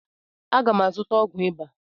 Aga m azụta ọgwụ ịba.